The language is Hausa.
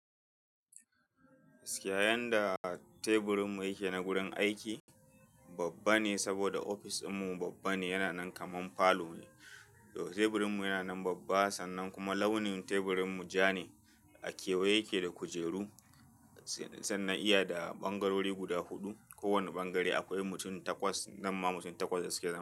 Siyayan da teburin mu yake na gurin aiki babba ne saboda ofis din mu babba ne, yana nan kaman falo ne. To teburin mu yana nan babba sannan kuma launin teburin mu ja ne. A kewaye yake da kujeru sannan iya da ɓangarori guda huɗu. Ko wani ɓangare akwai mutum takwas, nan ma mutum takwas da suke za.